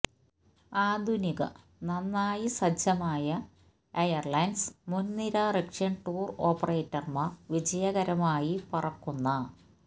ആധുനിക നന്നായി സജ്ജമായ ഐര്ലിനെര്സ് മുൻനിര റഷ്യൻ ടൂർ ഓപ്പറേറ്റർമാർ വിജയകരമായി പറക്കുന്ന